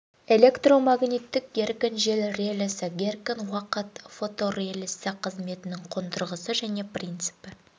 электромагниттік реле геркон жылу релесі геркон уақыт фоторелесі қызметінің қондырғысы және принципі